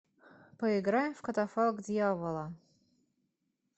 поиграем в катафалк дьявола